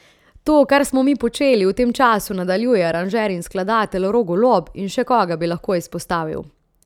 To, kar smo mi počeli, v tem času nadaljuje aranžer in skladatelj Rok Golob, in še koga bi lahko izpostavil.